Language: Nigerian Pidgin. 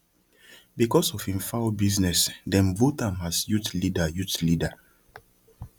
because of him fowl business dem vote am as youth leader youth leader